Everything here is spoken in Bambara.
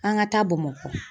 An ka taa Bamakɔ.